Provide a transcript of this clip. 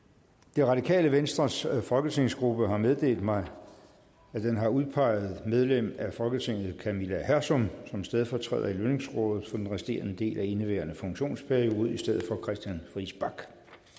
det radikale venstres folketingsgruppe har meddelt mig at den har udpeget medlem af folketinget camilla hersom som stedfortræder i lønningsrådet for den resterende del af indeværende funktionsperiode i stedet for christian friis bach